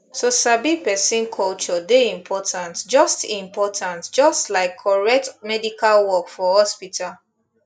to sabi person culture dey important just important just like correct medical work for hospital